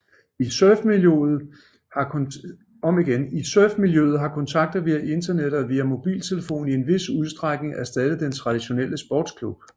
I surfmiljøet har kontakter via internettet og via mobiltelefon i en vis udstrækning erstattet den traditionelle sportsklub